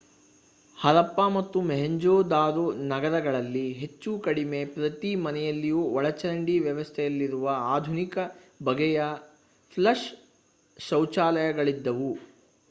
ಹರಪ್ಪಾ ಮತ್ತು ಮೊಹೆಂಜೊದಾರೊ ನಗರಗಳಲ್ಲಿ ಹೆಚ್ಚು ಕಡಿಮೆ ಪ್ರತಿ ಮನೆಯಲ್ಲಿಯೂ ಒಳಚರಂಡಿ ವ್ಯವಸ್ಥೆಯಿರುವ ಆಧುನಿಕ ಬಗೆಯ ಫ್ಲಷ್ ಶೌಚಾಲಯಗಳಿದ್ದವು